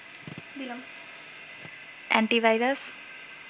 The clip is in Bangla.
এন্টিভাইরাস